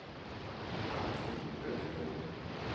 Arnfinn Løkken